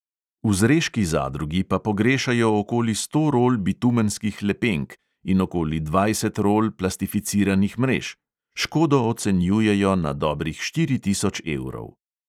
V zreški zadrugi pa pogrešajo okoli sto rol bitumenskih lepenk in okoli dvajset rol plastificiranih mrež; škodo ocenjujejo na dobrih štiri tisoč evrov.